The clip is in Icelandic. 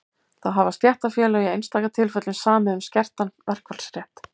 þá hafa stéttarfélög í einstaka tilfellum samið um skertan verkfallsrétt